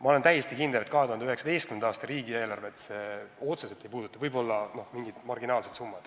Ma olen täiesti kindel, et 2019. aasta riigieelarvet see otseselt ei puuduta, võib-olla tekivad mingid marginaalsed summad.